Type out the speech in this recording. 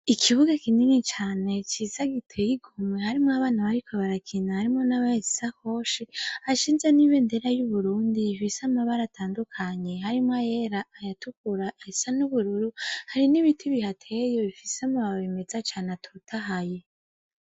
Ikibuga kinini cane ciza giteyemwo, hari n'abana bariko barakina harimwo n'abahetse isaoshi hashinzwe n'ibendera y'uburundi ifise amabara atandukanye, harimwo ayera, ayatukura, ayasa n'ubururu, hari n'ibiti bihateye bifise amababi meza cane atotahaye.